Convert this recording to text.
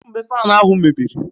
Kedụ mgbe Faanu ahụ mebiri?